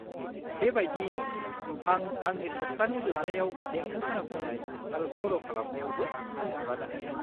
-बेबायदियैनो, आं आंनि सप्तानि जोबनायाव देंखो खोनासंनाय आरो सर' खालामनायावबो सम हगारनो हायो।